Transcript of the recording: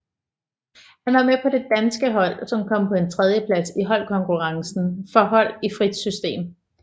Han var med på det danske hold som kom på en tredjeplads i holdkonkurrencen for hold i frit system